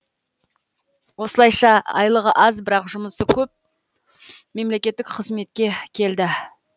осылайша айлығы аз бірақ жұмысы көп мемлекеттік қызметке келді